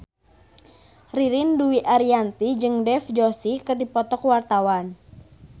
Ririn Dwi Ariyanti jeung Dev Joshi keur dipoto ku wartawan